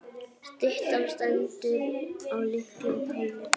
Styttan stendur á litlum palli.